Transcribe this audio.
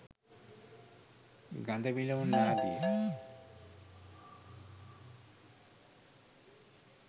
ගඳ විලවුන් ආදිය.